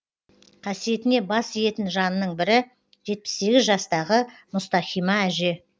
қасиетіне бас иетін жанның бірі жетпіс сегіз жастағы мұстахима әже